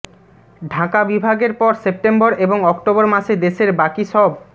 ঢাকা বিভাগের পর সেপ্টেম্বর এবং অক্টোবর মাসে দেশের বাকি সব